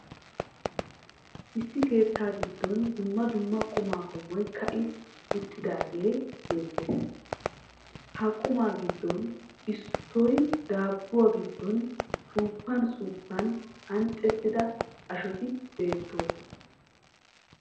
Issi keettaa giddon dumma dumma qommo qummay ka'i uttidaagee beettees. Ha qummaa giddoppe issoy daabuwa giddon suuppan suuppan anccettida ashoti beettoosona.